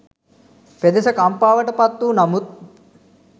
පෙදෙස කම්පාවට පත්වූ නමුත්